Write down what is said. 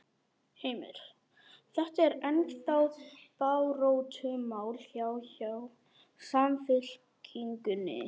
Heimir: Þetta er ennþá baráttumál hjá, hjá Samfylkingunni?